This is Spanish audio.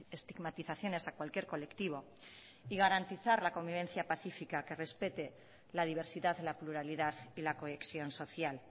estigmatizaciones a cualquier colectivo y garantizar la convivencia pacífica que respete la diversidad la pluralidad y la cohesión social